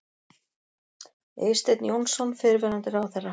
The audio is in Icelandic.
Eysteinn Jónsson, fyrrverandi ráðherra.